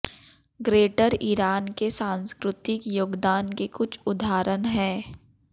greater Iran के सांस्कृतिक योगदान के कुछ उदाहरण है